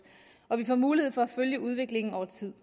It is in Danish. og vi får mulighed for at følge udviklingen over tid